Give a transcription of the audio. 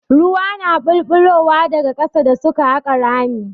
Ruwa na ɓulɓulowa daga ƙasa da suke haƙa rami.